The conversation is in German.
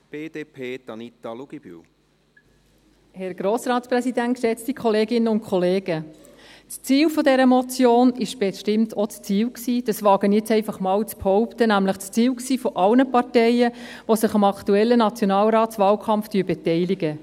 Das Ziel dieser Motion war bestimmt auch – dies wage ich jetzt einfach mal zu behaupten – das Ziel aller Parteien, die sich am aktuellen Nationalratswahlkampf beteiligen.